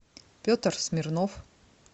петр смирнов